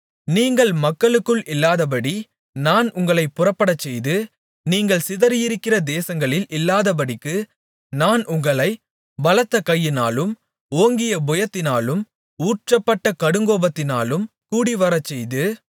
நீங்கள் மக்களுக்குள் இல்லாதபடி நான் உங்களைப் புறப்படச்செய்து நீங்கள் சிதறியிருக்கிற தேசங்களில் இல்லாதபடிக்கு நான் உங்களைப் பலத்தகையினாலும் ஓங்கிய புயத்தினாலும் ஊற்றப்பட்ட கடுங்கோபத்தினாலும் கூடிவரச்செய்து